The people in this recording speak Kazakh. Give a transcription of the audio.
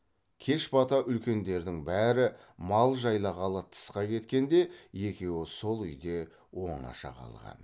кеш бата үлкендердің бәрі мал жайлағалы тысқа кеткенде екеуі сол үйде оңаша қалған